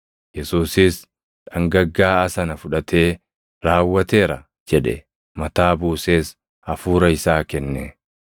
Yesuusis dhangaggaaʼaa sana fudhatee, “Raawwateera” jedhe. Mataa buusees hafuura isaa kenne.